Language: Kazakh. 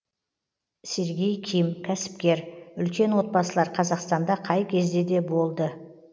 сергей ким кәсіпкер үлкен отбасылар қазақстанда қай кезде де болды